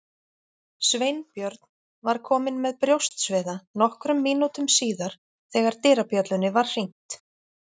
Sveinbjörn var kominn með brjóstsviða nokkrum mínútum síðar þegar dyrabjöllunni var hringt.